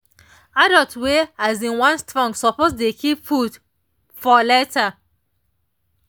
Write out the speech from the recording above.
adults wey um wan strong suppose dey keep food for later.